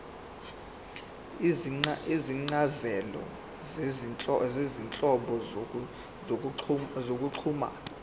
izincazelo zezinhlobo zokuxhumana